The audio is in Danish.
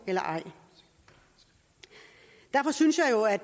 eller ej derfor synes jeg jo at